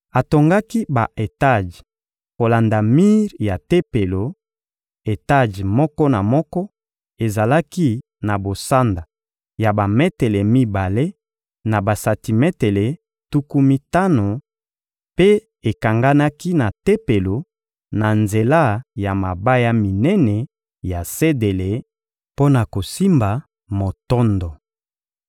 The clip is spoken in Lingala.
Atongaki ba-etaje kolanda mir ya Tempelo: etaje moko na moko ezalaki na bosanda ya bametele mibale na basantimetele tuku mitano, mpe ekanganaki na Tempelo na nzela ya mabaya minene ya sedele mpo na kosimba motondo.